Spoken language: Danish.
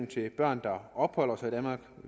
til børn der opholder sig i danmark